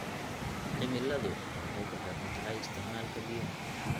Cimiladu waxay ku xiran tahay isticmaalka biyaha.